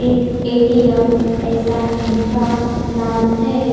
In A T M ऐसा इनका नाम है।